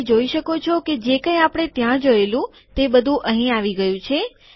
તમે જોઈ શકો છો કે જે કઈ આપણે ત્યાં જોએલુ તે બધું અહીં આવી ગયું છે